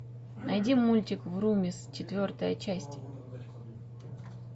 найди мультик врумиз четвертая часть